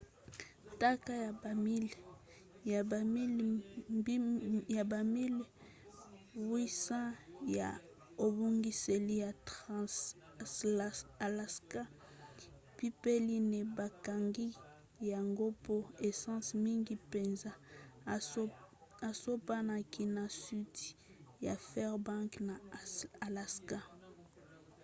ntaka ya bamiles 800 ya ebongiseli ya trans-alaska pipeline bakangaki yango mpo essence mingi mpenza esopanaki na sudi ya fairbanks na alaska